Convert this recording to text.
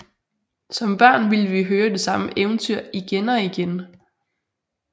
Som børn ville vi høre det samme eventyr igen og igen